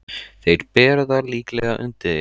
Þeir bera það líklega undir þig.